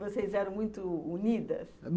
Vocês eram muito unidas?